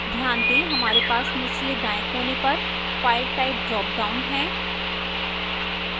ध्यान दें हमारे पास निचले दाएं कोने पर file type ड्रापडाउन है